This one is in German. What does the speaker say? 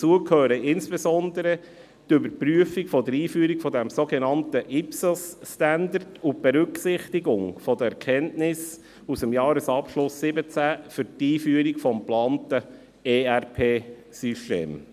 Dazu gehören insbesondere die Überprüfung der Einführung der sogenannten International-PublicSector-Accounting(IPSAS)-Standards und die Berücksichtigung der Erkenntnisse aus dem Jahresabschluss 2017 für die Einführung des geplanten ERP-Systems.